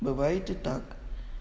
бывает и так